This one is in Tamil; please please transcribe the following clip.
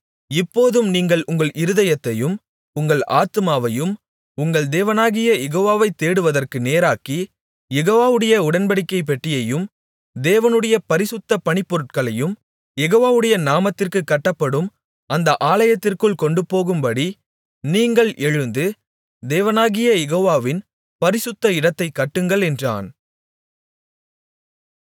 இப்போதும் நீங்கள் உங்கள் இருதயத்தையும் உங்கள் ஆத்துமாவையும் உங்கள் தேவனாகிய யெகோவாவை தேடுவதற்கு நேராக்கி யெகோவாவுடைய உடன்படிக்கைப் பெட்டியையும் தேவனுடைய பரிசுத்தப் பணிபொருட்களையும் யெகோவாவுடைய நாமத்திற்குக் கட்டப்படும் அந்த ஆலயத்திற்குள் கொண்டுபோகும்படி நீங்கள் எழுந்து தேவனாகிய யெகோவாவின் பரிசுத்த இடத்தைக் கட்டுங்கள் என்றான்